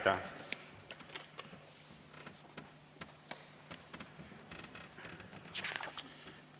Aitäh!